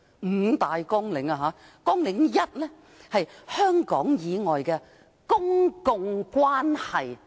五大綱領包括：綱領 1： 香港以外的公共關係。